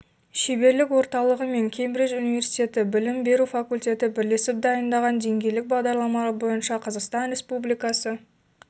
шеберлік орталығы мен кембридж университеті білім беру факультеті бірлесіп дайындаған деңгейлік бағдарламалар бойынша қазақстан республикасы